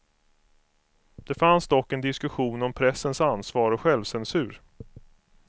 Det fanns dock en diskussion om pressens ansvar och självcensur.